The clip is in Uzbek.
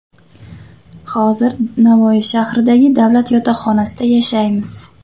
Hozir Navoiy shahridagi davlat yotoqxonasida yashaymiz.